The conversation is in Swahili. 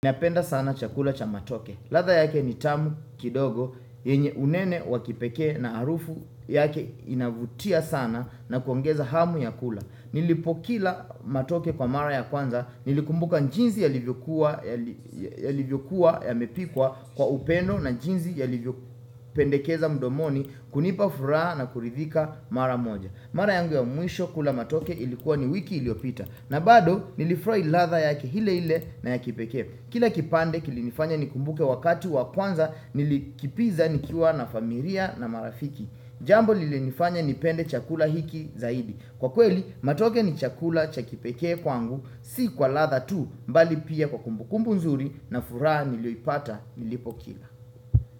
Nipenda sana chakula cha matoke. Ladha yake ni tamu kidogo, yenye unene wa kipekee na harufu yake inavutia sana na kuongeza hamu ya kula. Nilipokila matoke kwa mara ya kwanza, nilikumbuka njinsi yalivyokuwa yamepikwa kwa upeno na njinsi yalivyopendekeza mdomoni kunipa furaha na kuridhika mara moja. Mara yangu ya mwisho kula matoke ilikuwa ni wiki iliopita. Na bado nilifurahi ladha yake ile hle na ya kipekee. Kila kipande kilinifanya nikumbuke wakati wa kwanza nilikipiza nikiwa na familia na marafiki Jambo lilinifanya nipende chakula hiki zaidi. Kwa kweli, matoke ni chakula cha kipekee kwangu si kwa ladha tu bali pia kwa kumbukumbu nzuri na furaha nilioipata nilipo kila.